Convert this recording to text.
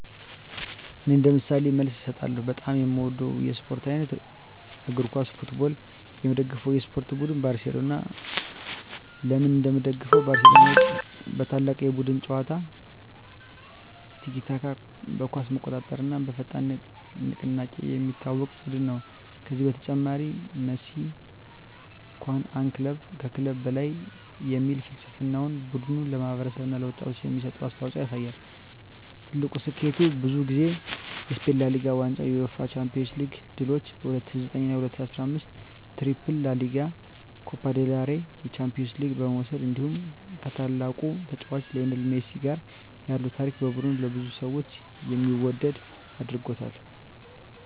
እኔ እንደ ምሳሌ መልስ እሰጣለሁ፦ በጣም የምወደው የስፖርት አይነት: እግር ኳስ (Football) የምደግፈው የስፖርት ቡድን: ባርሴሎና (FC Barcelona) ለምን እንደምደግፈው: ባርሴሎና በታላቅ የቡድን ጨዋታ (tiki-taka)፣ በኳስ መቆጣጠር እና በፈጣን ንቅናቄ የሚታወቅ ቡድን ነው። ከዚህ በተጨማሪ “Mes que un club” (ከክለብ በላይ) የሚል ፍልስፍናው ቡድኑ ለማህበረሰብ እና ለወጣቶች የሚሰጠውን አስተዋፅኦ ያሳያል። ትልቁ ስኬቱ: ብዙ ጊዜ የስፔን ላ ሊጋ ዋንጫ የUEFA ቻምፒዮንስ ሊግ ድሎች በ2009 እና 2015 ዓመታት “ትሪፕል” (ላ ሊጋ፣ ኮፓ ዴል ሬይ፣ ቻምፒዮንስ ሊግ) መውሰድ እንዲሁ ከታላቁ ተጫዋች ሊዮኔል ሜሲ ጋር ያለው ታሪክ ቡድኑን ለብዙ ሰዎች የሚወደድ አድርጎታል።